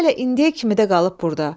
Hələ indiyə kimi də qalıb burda.